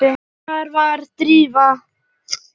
Hvar var Drífa?